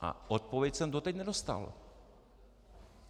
A odpověď jsem doteď nedostal.